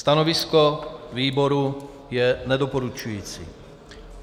Stanovisko výboru je nedoporučující.